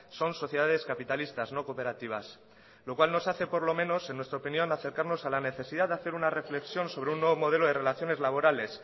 son sociedades capitalistas no cooperativas lo cual nos hace por lo menos en nuestra opinión acercarnos a la necesidad de hacer una reflexión sobre un nuevo modelo de relaciones laborales